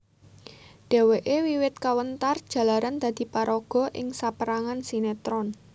Dheweke wiwit kawentar jalaran dadi paraga ing saperangan sinetron